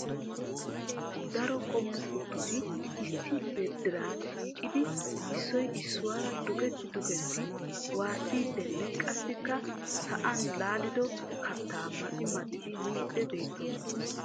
Daro qommo kuttoti issi diran shiiqidi issoy issuwaara dukketi dukketi waassiidinne qassikka sa'an laaliddo kattaa maxi maxidi miidi beettoosona .